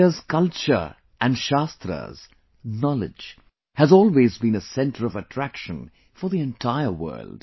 India's culture and Shaastras, knowledge has always been a centre of attraction for the entire world